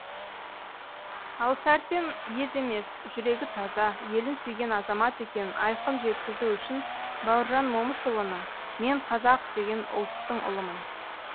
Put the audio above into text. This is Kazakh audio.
ал сәрсен ез емес жүрегі таза елін сүйген азамат екенін айқын жеткізу үшін бауыржан момышұлының мен қазақ деген ұлттың ұлымын